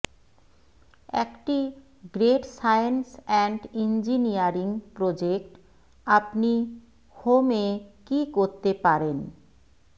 একটি great science and engineering project আপনি home এ কি করতে পারেন